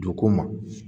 Don ko ma